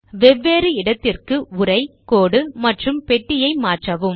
வெவ்வேறு இடத்திற்கு உரை கோடு மற்றும் பெட்டி ஐ மாற்றவும்